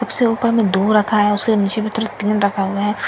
सबसे ऊपर में दो रखा हैं उसके नीचे में तीन रखा हुआ हैं सब एक ही तरह --